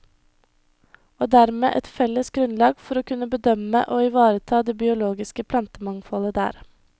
Og dermed et felles grunnlag for å kunne bedømme og ivareta det biologiske plantemangfoldet der.